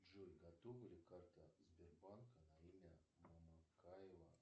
джой готова ли карта сбербанка на имя мамыкаева